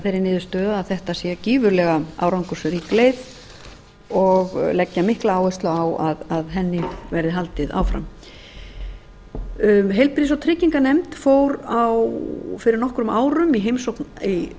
þeirri niðurstöðu að þetta sé gífurlega árangursrík leið og leggja mikla áherslu á að henni verði haldið áfram heilbrigðis og trygginganefnd fór fyrir nokkrum árum í heimsókn í